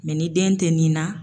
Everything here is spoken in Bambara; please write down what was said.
ni den tɛ nin na.